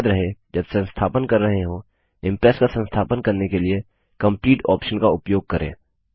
याद रहे जब संस्थापन कर रहे हों इम्प्रेस का संस्थापन करने के लिए कंप्लीट ऑप्शन का उपयोग करें